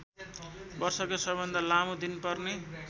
वर्षकै सबैभन्दा लामो दिन पर्ने